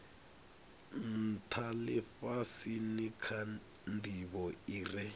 ntha lifhasini kha ndivho ire